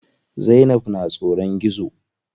Zainab na tsoron gizo.